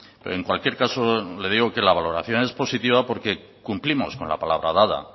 pero en cualquier caso le digo que la valoración es positiva porque cumplimos con la palabra dada